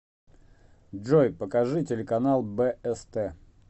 джой покажи телеканал бст